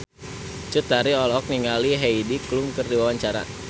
Cut Tari olohok ningali Heidi Klum keur diwawancara